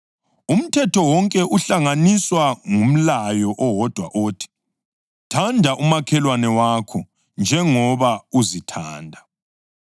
Umthetho wonke uhlanganiswa ngumlayo owodwa othi: “Thanda umakhelwane wakho njengoba uzithanda.” + 5.14 ULevi 19.18